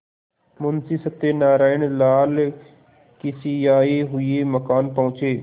मुंशी सत्यनारायणलाल खिसियाये हुए मकान पहुँचे